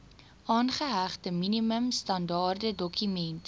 aangehegte minimum standaardedokument